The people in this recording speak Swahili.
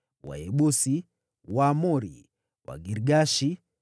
Wayebusi, Waamori, Wagirgashi,